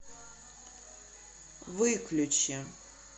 выключи